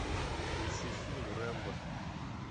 включи фильм рэмбо